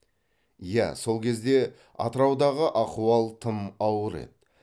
иә сол кезде атыраудағы ахуал тым ауыр еді